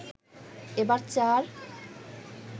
এবার চার